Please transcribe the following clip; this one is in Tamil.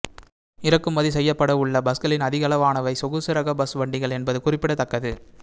இறக்குமதி செய்யப்படவுள்ள பஸ்களில் அதிகளவானவை சொகுசு ரக பஸ் வண்டிகள் என்பது குறிப்பிடத்தக்கது